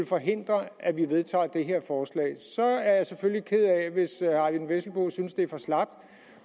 forhindre at vi vedtager det her forslag så er jeg selvfølgelig ked af hvis herre eyvind vesselbo synes at det er for slapt